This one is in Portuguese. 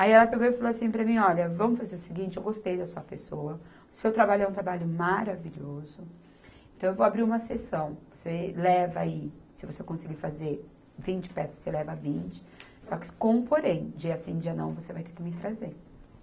Aí ela pegou e falou assim para mim, olha, vamos fazer o seguinte, eu gostei da sua pessoa, o seu trabalho é um trabalho maravilhoso, então eu vou abrir uma exceção, você leva aí, se você conseguir fazer vinte peças, você leva vinte, só que com um porém, dia sim, dia não, você vai ter que me trazer.